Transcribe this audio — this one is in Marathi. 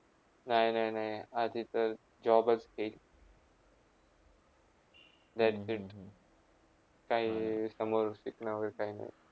नय, नय, नय आधीतर job च घेई काही समोर शिकणावर काही नाही